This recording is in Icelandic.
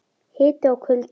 Hiti og kuldi.